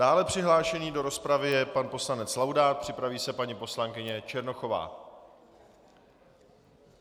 Dále přihlášený do rozpravy je pan poslanec Laudát, připraví se paní poslankyně Černochová.